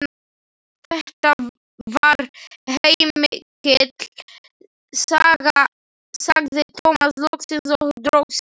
Þetta var heilmikil saga, sagði Tómas loksins og dró seiminn.